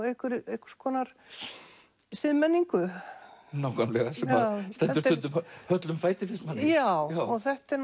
einhvers einhvers konar siðmenningu sem stendur stundum höllum fæti finnst manni já þetta er